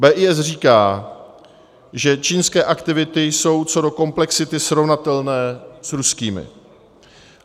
BIS říká, že čínské aktivity jsou co do komplexity srovnatelné s ruskými.